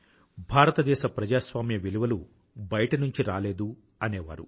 భారతదేశ ప్రజాస్వామ్య విలువలు బయట నుంచి రాలేదు అనేవారు